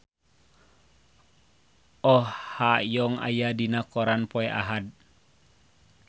Oh Ha Young aya dina koran poe Ahad